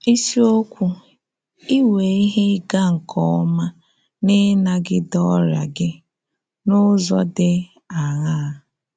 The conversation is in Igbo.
Isiokwu: “Ị́nwe Ihe Ị́ga nke Ọ́ma n’Ịnagide Ọ́rịa Gị — N’ụ́zọ Dị Áṅaa?”